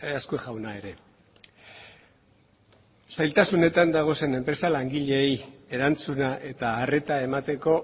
azkue jauna ere zailtasunetan dauden enpresak langileei erantzuna eta arreta emateko